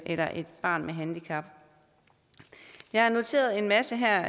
eller et barn med handicap jeg har noteret en masse her